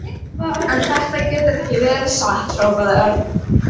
En þetta getur ekki verið satt hrópaði Örn.